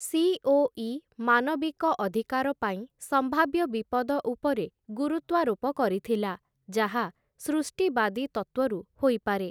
COE. ମାନବିକ ଅଧିକାର ପାଇଁ ସମ୍ଭାବ୍ୟ ବିପଦ ଉପରେ ଗୁରୁତ୍ୱାରୋପ କରିଥିଲା ​​ଯାହା ସୃଷ୍ଟିବାଦୀ ତତ୍ତ୍ୱରୁ ହୋଇପାରେ ।